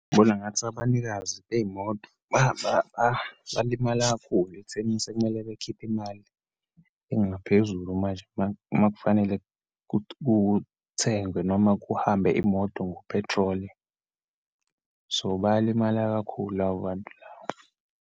Ngibona ngathi abanikazi beyimoto balimala kakhulu ekuthenini sekumele bakhiphe imali engaphezulu manje uma, uma kufanele kuthengwe noma kuhambe imoto ngophethroli. So, bayalimala kakhulu labo bantu labo.